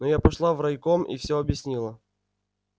но я пошла в райком и все объяснила